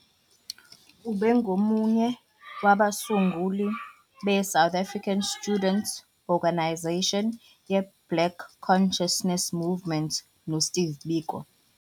Ubengomunye wabasunguli beSouth African Student 'Organisation yeBlack Consciousness Movement noSteve Biko.